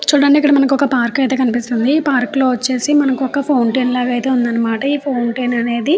చూడండి ఇక్కడ మనకు ఒక పార్క్ అయితే కనిపిస్తుంది. ఈ పార్కు లో వచ్చేసి మనకు ఒక ఫౌంటెన్ లాగ అయితే ఉందని మాట. ఈ ఫౌంటెన్ అనేది--